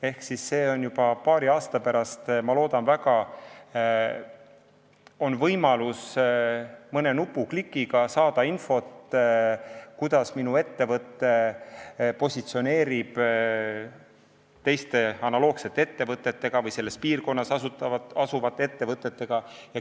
Ehk on juba paari aasta pärast, ma loodan väga, võimalus mõne klõpsuga saada infot, kuidas kellegi ettevõte positsioneerib teiste analoogsete ettevõtete või teiste samas piirkonnas asuvate ettevõtete seas.